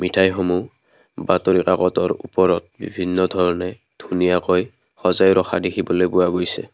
মিঠাইসমূহ বাতৰি কাকতৰ ওপৰত বিভিন্ন ধৰণে ধুনীয়াকৈ সজাই ৰখা দেখিবলৈ পোৱা গৈছে।